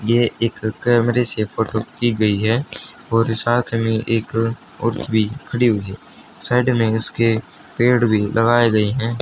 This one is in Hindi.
यह एक कैमरे से फोटो की गई है और साथ में एक औरत भी खड़ी हुई है साइड में इसके पेड़ भी लगाए गए हैं।